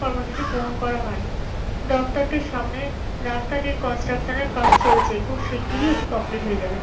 কর্মসূচি গ্রহণ করা হয়। দফতরটির সামনে রাস্তাটির কন্সট্রাকশনের কাজ চলছে। খুব শিগগিরই এটি কমপ্লিট হয়ে যাবে।